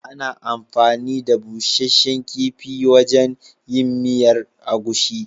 Ana anfani da busasshen kifi wajen yin miyar agushi.